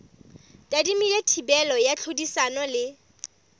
tadimilwe thibelo ya tlhodisano le